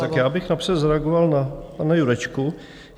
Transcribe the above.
Tak já bych napřed zareagoval na pana Jurečku.